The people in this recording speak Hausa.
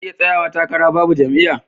Zaka iya tsayawa takara Babu jam'iya